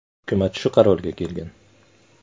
Hukumat shu qarorga kelgan.